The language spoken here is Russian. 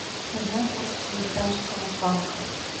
узнай курс швейцарского франка